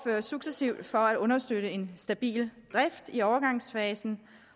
successivt for at understøtte en stabil drift i overgangsfasen